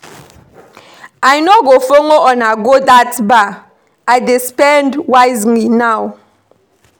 I no go follow una go dat bar, I dey spend wisely now